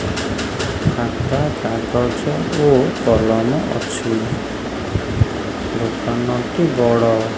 ଖାତା କାଗଜ ଓ କଲମ ଅଛି ଦୋକାନଟି ବଡ଼।